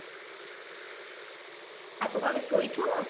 ଆଉ ତୁ କଣ ଏବେ ଶୋଇଛୁ